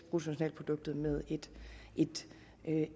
bruttonationalproduktet med et